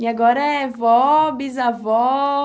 E agora é vó, bisavó.